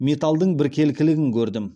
металдың біркелкілігін көрдім